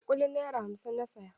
Kulin naira hamsin na saya.